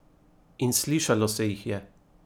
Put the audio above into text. In slišalo se jih je!